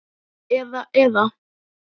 Eða, eða.